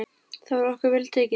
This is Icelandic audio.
Þar var okkur vel tekið.